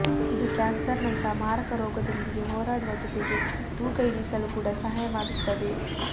ಇದು ಕ್ಯಾನ್ಸರ್ನಂತಹ ಮಾರಕ ರೋಗದೊಂದಿಗೆ ಹೋರಾಡುವ ಜೊತೆಗೆ ತೂಕ ಇಳಿಸಲು ಕೂಡ ಸಹಾಯ ಮಾಡುತ್ತದೆ